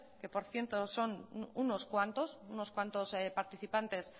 que por cierto son unos cuantos unos cuantos participantes